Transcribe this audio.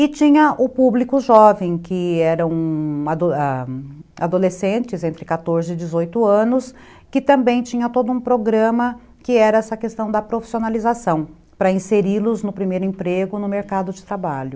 E tinha o público jovem, que eram a adolescentes entre quatorze e dezoito anos, que também tinha todo um programa que era essa questão da profissionalização, para inseri-los no primeiro emprego no mercado de trabalho.